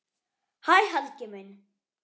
Hæ Helgi minn.